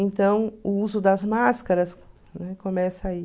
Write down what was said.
Então, o uso das máscaras começa aí.